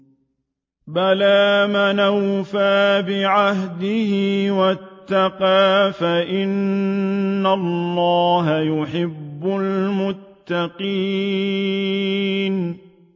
بَلَىٰ مَنْ أَوْفَىٰ بِعَهْدِهِ وَاتَّقَىٰ فَإِنَّ اللَّهَ يُحِبُّ الْمُتَّقِينَ